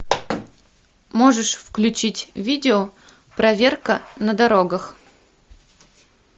можешь включить видео проверка на дорогах